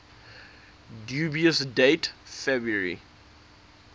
dubious date february